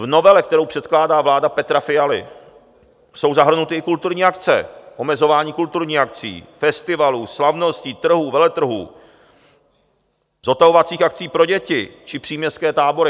V novele, kterou předkládá vláda Petra Fialy, jsou zahrnuty i kulturní akce, omezování kulturních akcí, festivalů, slavností, trhů, veletrhů, zotavovacích akcí pro děti či příměstské tábory.